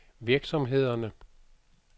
virksomhederne